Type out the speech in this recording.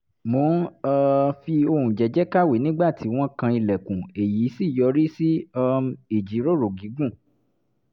mò ń um fi ohùn jẹ́ẹ́jẹ́ẹ́ kàwé nígbà tí wọ́n kan ilẹ̀kùn èyí sì yọrí sí um ìjíròrò gígùn